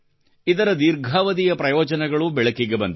ಇದರ ದೀರ್ಘಾವಧಿಯ ಪ್ರಯೋಜನಗಳೂ ಬೆಳಕಿಗೆ ಬಂದಿವೆ